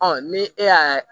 ni e y'a